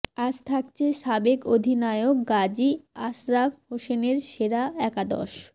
আজ থাকছে সাবেক অধিনায়ক গাজী আশরাফ হোসেনের সেরা একাদশ